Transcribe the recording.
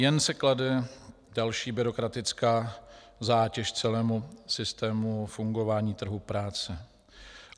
Jen se klade další byrokratická zátěž celému systému fungování trhu práce.